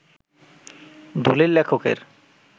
দলিল লেখকের